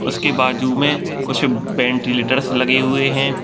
उसके बाजू मे कुछ वेंटिलेटर्स लगे हुए है ।